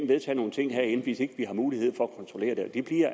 vedtage nogle ting herinde hvis ikke vi har mulighed for